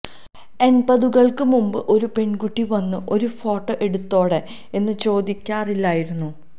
എണ്പതുകള്ക്ക് മുമ്പ് ഒരു പെണ്കുട്ടി വന്ന് ഒരു ഫോട്ടോ എടുത്തോട്ടെ എന്ന് ചോദിക്കാറില്ലായിരുന്നു